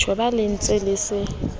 tjhoba le se le letse